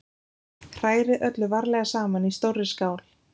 Hrærið öllu varlega saman í stórri skál.